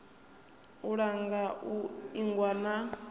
u langa u ingwa na